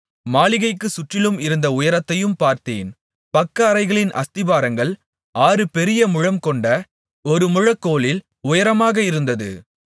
மாளிகைக்குச் சுற்றிலும் இருந்த உயரத்தையும் பார்த்தேன் பக்கஅறைகளின் அஸ்திபாரங்கள் ஆறுபெரிய முழம்கொண்ட ஒரு முழக்கோலின் உயரமாக இருந்தது